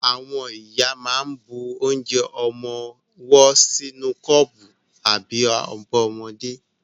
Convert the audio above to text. Àwọn ìyá máa ń bu onje ọmọwọ́ sínú kọ́pù àbí abọ́ ọmọdé.